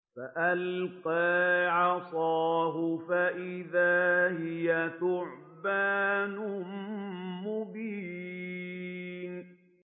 فَأَلْقَىٰ عَصَاهُ فَإِذَا هِيَ ثُعْبَانٌ مُّبِينٌ